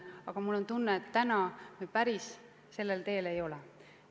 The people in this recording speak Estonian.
Aga mul on tunne, et täna me päris sellel teel ei ole.